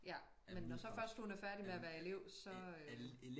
Ja men når så først hun er færdig med at være elev så øh